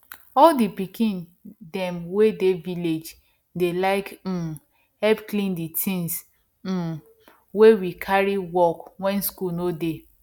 all the pikin them wey dey village dey like um help clean the things um wey we carry work when school no dey